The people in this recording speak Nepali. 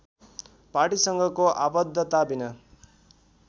पार्टीसँगको आबद्धताविना